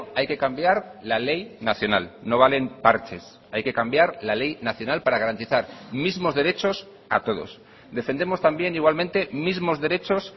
hay que cambiar la ley nacional no valen parches hay que cambiar la ley nacional para garantizar mismos derechos a todos defendemos también igualmente mismos derechos